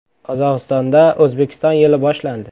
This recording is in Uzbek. “Qozog‘istonda O‘zbekiston yili boshlandi.